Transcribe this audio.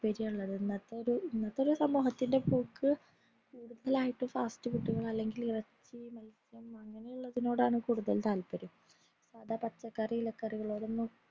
ഇന്നത്തൊരു ഇന്നത്തൊരു സമൂഹത്തിൻറെ പോക് ആയിട്ട് fast food അല്ലെങ്കിൽ ഇറച്ചി മത്സ്യം അങ്ങനെയുള്ളതിനോടാണ് കൂടുതൽ താത്പര്യം സാദാ പച്ചക്കറി ഇലക്കറികളോടൊന്നും